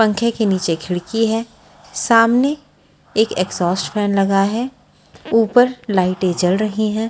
पंखे के नीचे खिड़की है सामने एक एग्जॉस्ट फैन लगा है ऊपर लाइटें जल रही हैं ।